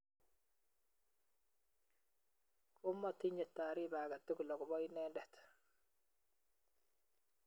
Komaatinye taariba agetugul akobo inendet